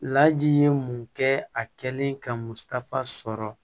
Laji ye mun kɛ a kɛlen ka musaka sɔrɔ